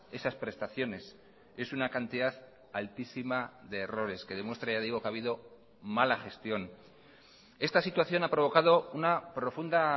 esas prestaciones es una cantidad altísima de errores que demuestra ya digo que ha habido mala gestión esta situación ha provocado una profunda